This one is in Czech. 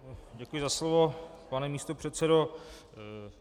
Děkuji za slovo, pane místopředsedo.